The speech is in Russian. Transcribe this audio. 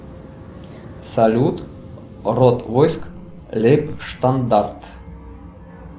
салют род войск лейб штандарт